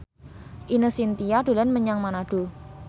Ine Shintya dolan menyang Manado